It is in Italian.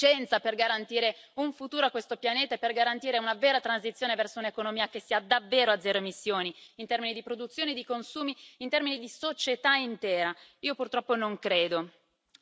Abbiamo fatto a sufficienza per garantire un futuro a questo pianeta e per garantire una vera transizione verso un'economia che sia davvero a zero emissioni, in termini di produzione e di consumi, in termini di società intera?